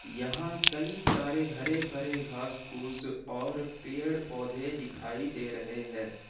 यहां कई सारे हरे भरे घास फूस और पेड़ पौधे दिखाई दे रहे हैं।